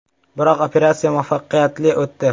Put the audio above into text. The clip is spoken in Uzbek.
Biroq operatsiya muvaffaqiyatli o‘tdi.